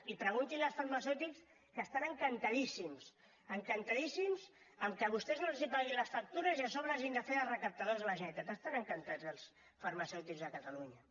i pregunti ho als farmacèutics que estan encantadíssims encantadíssims amb el fet que vostès no els paguin les factures i a sobre hagin de fer de recaptadors de la generalitat n’estan encantats els farmacèutics de catalunya